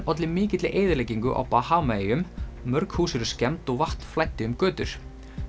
olli mikilli eyðileggingu á Bahamaeyjum mörg hús eru skemmd og vatn flæddi um götur